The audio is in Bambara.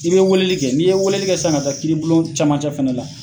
I be weleli kɛ, ni ye weleli kɛ san ka taa kiiribulon camancɛ fɛnɛ la